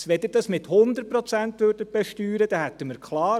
Wenn Sie das mit 100 Prozent besteuern würden, ist klar: